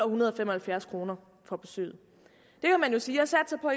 hundrede og fem og halvfjerds kroner for besøget man kan sige